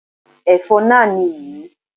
Ẹ̀fọ́ náà nì yí